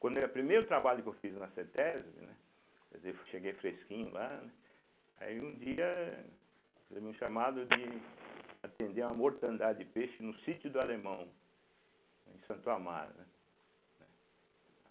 Quando ia primeiro trabalho que eu fiz na cêtésbe, né, quer dizer, cheguei fresquinho lá, né, aí um dia eu recebi um chamado de atender a uma mortandade de peixe no sítio do Alemão, em Santo Amaro, né, né.